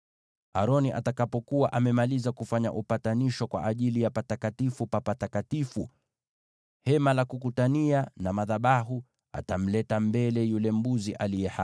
“Aroni atakapokuwa amemaliza kufanya upatanisho kwa ajili ya Patakatifu pa Patakatifu, Hema la Kukutania na madhabahu, atamleta mbele yule mbuzi aliye hai.